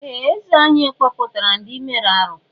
Ee! Eze anyị kpọpụtara ndị mere arụ́.